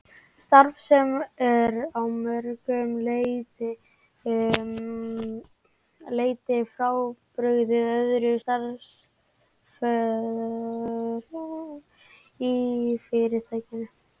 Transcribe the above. Starf sem er að mörgu leyti frábrugðið öðrum störfum í Fyrirtækinu.